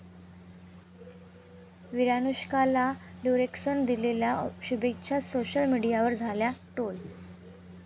विरानुष्काला 'ड्युरेक्स'नं दिलेल्या शुभेच्छा सोशल मीडियावर झाल्या ट्रोल